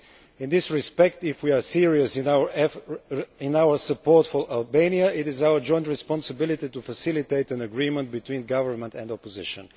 In this respect, if we are serious about our support for Albania, it is our joint responsibility to facilitate an agreement between government and opposition.